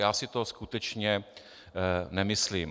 Já si to skutečně nemyslím.